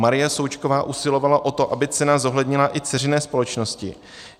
Marie Součková usilovala o to, aby cena zohlednila i dceřiné společnosti.